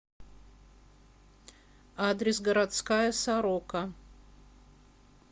адрес городская сорока